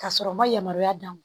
Ka sɔrɔ ma yamaruya d'a ma